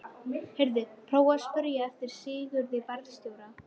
Heyrðu. prófaðu að spyrja eftir Sigurði varðstjóra.